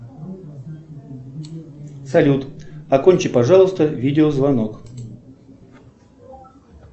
салют окончи пожалуйста видеозвонок